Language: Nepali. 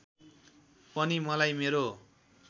पनि मलाई मेरो